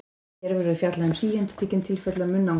Hér verður fjallað um síendurtekin tilfelli af munnangri.